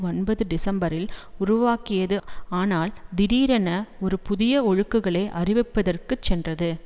ஒன்பது டிசம்பரில் உருவாக்கியது ஆனால் திடீரென ஒரு புதிய ஒழுங்குகளை அறிவிப்பதற்கு சென்றது